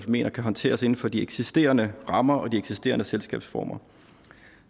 mener kan håndteres inden for de eksisterende rammer og de eksisterende selskabsformer